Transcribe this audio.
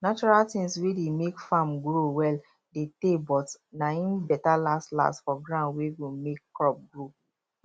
natural tins wey dey make farm grow well dey tey but na im better last last for ground wey go make crop grow